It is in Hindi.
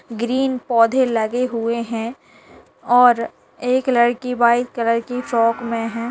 ग्रीन पौधे लगे हुए हैं और एक लड़की व्हाइट कलर की फ्रॉक में है।